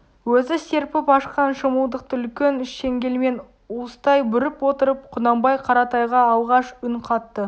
өзі серпіп ашқан шымылдықты үлкен шеңгелмен уыстай бүріп отырып құнанбай қаратайға алғаш үн қатты